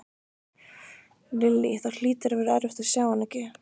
Lillý: Það hlýtur að vera erfitt að sjá hana ekki?